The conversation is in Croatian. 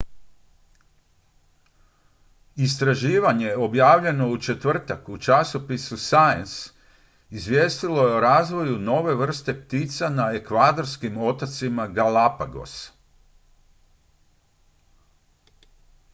istraživanje objavljeno u četvrtak u časopisu science izvijestilo je o razvoju nove vrste ptica na ekvadorskim otocima galapagos